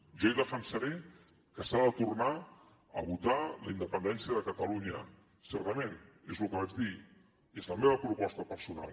jo hi defensaré que s’ha de tornar a votar la independència de catalunya certament és el que vaig dir és la meva proposta personal